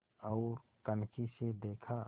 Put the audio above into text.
ओर कनखी से देखा